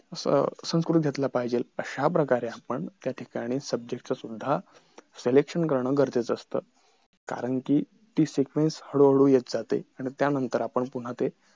अं संस्कृत घेतला पाहिजे ह्याप्रकारे आपण त्याठिकाणी subject सुद्धा selection करणं गरजेचं असत कारण कि ती sequence हळूहळू येत जाते आणि त्यानंतर आपण पुनः ते